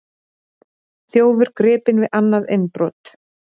Þjófur gripinn við annað innbrot